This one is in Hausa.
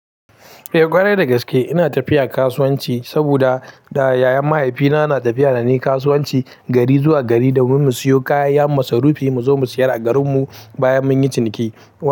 Eh kwarai da gaske ina tafiya kasuwanci saboda da, da yayan mahaifina na tafiya da ni kasuwanci gari zuwa gari domin mu siyo kayan masarufi mu zo mu siyar a garin mu bayan munyi ciniki.